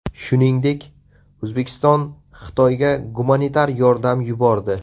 Shuningdek, O‘zbekiston Xitoyga gumanitar yordam yubordi .